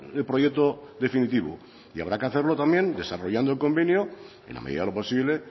el proyecto definitivo y habrá que hacerlo también desarrollando el convenio en la medida de lo posible